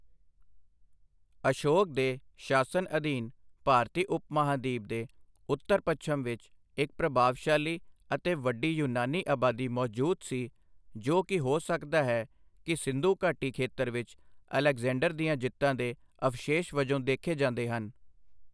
ਅਸ਼ੋਕ ਦੇ ਸ਼ਾਸਨ ਅਧੀਨ ਭਾਰਤੀ ਉਪ ਮਹਾਂਦੀਪ ਦੇ ਉੱਤਰ ਪੱਛਮ ਵਿੱਚ ਇੱਕ ਪ੍ਰਭਾਵਸ਼ਾਲੀ ਅਤੇ ਵੱਡੀ ਯੂਨਾਨੀ ਆਬਾਦੀ ਮੌਜੂਦ ਸੀ ਜੋ ਕਿ ਹੋ ਸਕਦਾ ਹੈ ਕਿ ਸਿੰਧੂ ਘਾਟੀ ਖੇਤਰ ਵਿੱਚ ਅਲੈਗਜ਼ੈਂਡਰ ਦੀਆਂ ਜਿੱਤਾਂ ਦੇ ਅਵਸ਼ੇਸ਼ ਵਜੋਂ ਦੇਖੇ ਜਾਂਦੇ ਹਨ।